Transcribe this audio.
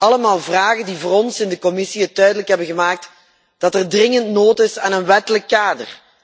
Allemaal vragen die voor ons in de commissie duidelijk hebben gemaakt dat er dringend behoefte is aan een wettelijk kader.